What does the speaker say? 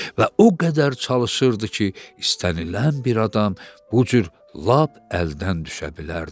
Və o qədər çalışırdı ki, istənilən bir adam bu cür lap əldən düşə bilərdi.